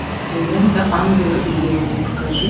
лента ангелы и демоны покажи